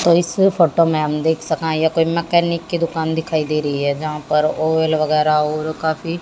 और इस फोटो में हम देख सकते हैं यह कोई मैकेनिक की दुकान दिखाई दे रही है। जहां पर ओईल वगैराह और काफी--